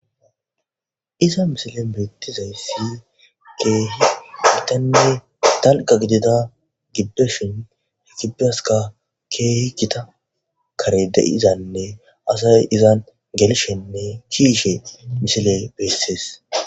iza misile beettizayssi keehi putenne talqa gidida gibdeshin higibaska keeh kita kare de7izanne asay izan gelishenne kiyishe misile bessees.